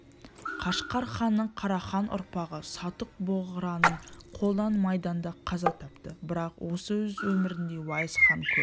қашқар ханы қарахан ұрпағы сатуқ-бограның қолынан майданда қаза тапты бірақ осы аз өмірінде уайс хан көп